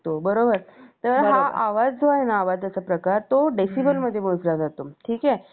job करणे हे अत्यंत आवश्यक आहे स्त्रियांबरोबर पुरुषांनाही मुलांनाही job करण तेवढंच आवश्यक आहे जीवन जगताना आता महागाईच्या काळामधें पैसे येणार कुठून